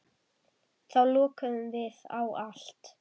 Þá lokuðum við á allt.